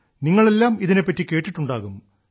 നിങ്ങളെല്ലാം ഇതിനെപ്പറ്റി കേട്ടിട്ടുണ്ടാകും